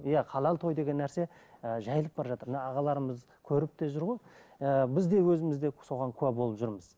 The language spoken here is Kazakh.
иә халал той деген нәрсе ы жайылып бара жатыр мына ағаларымыз көріп те жүр ғой ііі біз де өзіміз де соған куә болып жүрміз